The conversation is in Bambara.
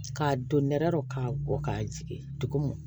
Ka don nɛrɛ k'a kɔ ka jigin dugu mɔ